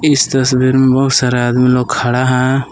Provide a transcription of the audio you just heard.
इस तस्वीर में बहुत सारा आदमी लोग खड़ा है।